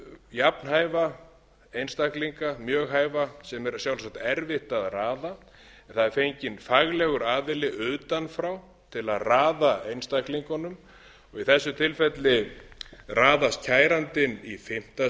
jafnhæfa einstaklinga mjög hæfa sem er sjálfsagt erfitt að raða það er fenginn faglegur aðili utan frá til að raða einstaklingunum í þessu tilfelli raðast kærandinn í fimmta